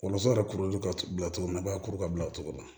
Wolonfula yɛrɛ kuruli ka bila cogo min na a b'a kuru ka bila o cogo la